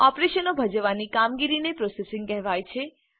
ઓપરેશનો ભજવવાની કામગીરીને પ્રોસેસિંગ કહેવાય છે